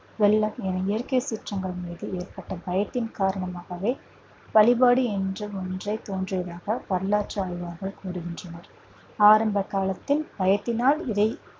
இயற்கை சீற்றங்கள் மீது ஏற்பட்ட பயத்தின் காரணமாகவே வழிபாடு என்று ஒன்று தோன்றியதாக வரலாற்று ஆய்வாளர்கள் கூறுகின்றனர் ஆரம்ப காலத்தில் பயத்தினால் இதை